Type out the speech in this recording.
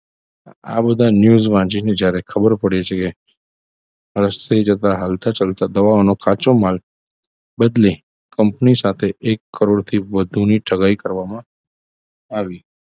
આ બધા news વાંચીને જ્યારે ખબર પડે છે કે રસ્તે જતા હાલતા ચાલતા દવાનો કાચો માલ બદલે company સાથે એક કરોડથી વધુ ની ઠગાઈ કરવામાં આવી